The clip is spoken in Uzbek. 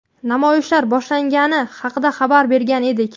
namoyishlar boshlangani haqida xabar bergan edik.